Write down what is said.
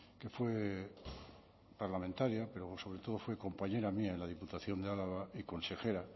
que fue parlamentaria pero sobre todo fue compañera mía en la diputación de álava y consejera